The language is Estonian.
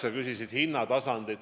Sa küsisid ka hindade kohta.